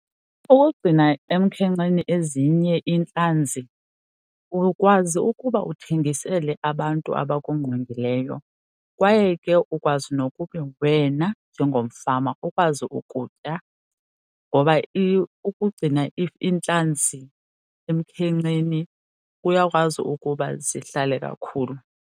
Ukugcina emkhenkceni ezinye iintlanzi ukwazi ukuba uthengisele abantu abakungqongileyo kwaye ke ukwazi nokuba wena mna njengomfama ukwazi ukutya. Ngoba ukugcina iintlantsi emkhenkceni kuyakwazi ukuba zihlale kakhulu.